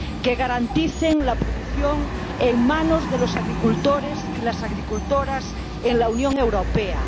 que garanticen la producción en manos de los agricultores y las agricultoras en la Unión Europea